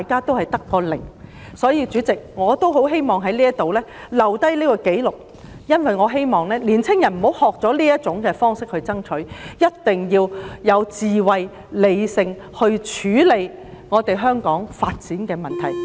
因此，代理主席，我希望在此留下紀錄，寄語年青人不要學習以這種方式作出爭取，一定要有智慧和理性地處理香港的發展問題。